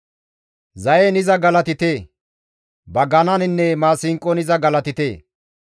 Zayen iza galatite; bagananinne maasinqon iza galatite.